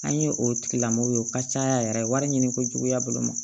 An ye o tigilamɔgɔw ye o ka ca ya yɛrɛ wari ɲini ko juguya bolo ma